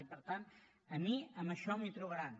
i per tant a mi en això m’hi trobaran